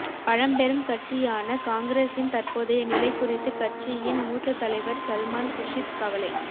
பழம்பெரும் கட்சியான காங்கிரசின் தற்போதைய நிலை குறித்து கட்சியின் மூத்த தலைவர் சல்மான் குர்ஷித் கவலை